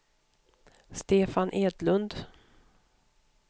Stefan Edlund